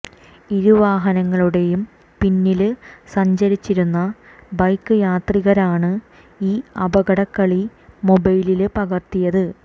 ഇരുവാഹനങ്ങളുടെയും പിന്നില് സഞ്ചിരിച്ചിരുന്ന ബൈക്ക് യാത്രികരാണ് ഈ അപകടക്കളി മൊബൈലില് പകര്ത്തിയത്